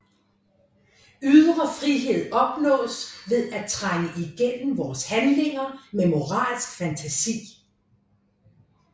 Ydre frihed opnås ved at trænge igennem vores handlinger med moralsk fantasi